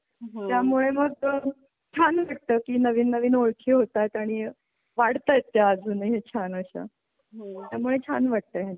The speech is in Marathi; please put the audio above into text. त्यामुळे मग छान वाटत की नवीन नवीन ओळखी होतात आणि वाढतात ते अजूनही छान अशा होते त्यामुळे छान वाटतं आहे.